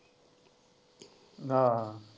ਨਾ।